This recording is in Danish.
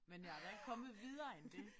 Men jeg er da ikke kommet videre end det